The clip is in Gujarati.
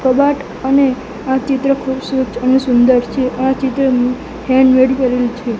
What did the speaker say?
કબાટ અને આ ચિત્ર ખૂબ અને સુંદર છે આ ચિત્ર હેન્ડમેડ કરેલુ છે.